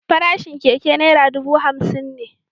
Farashin keke naira dubu hamsin ne.